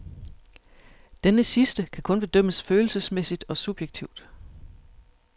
Denne sidste kan kun bedømmes følelsesmæssigt og subjektivt.